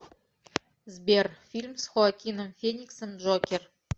сбер фильм с хоакином фениксом джокер